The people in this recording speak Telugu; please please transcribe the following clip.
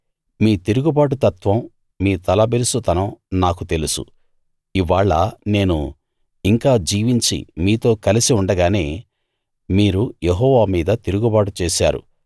మీ తిరుగుబాటుతత్వం మీ తలబిరుసుతనం నాకు తెలుసు ఇవ్వాళ నేను ఇంకా జీవించి మీతో కలిసి ఉండగానే మీరు యెహోవా మీద తిరుగుబాటు చేశారు